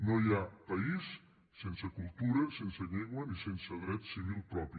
no hi ha país sense cultura sense llengua ni sense dret civil propi